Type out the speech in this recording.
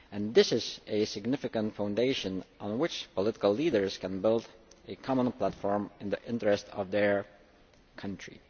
This is a significant foundation on which political leaders can build a common platform in the interest of their country.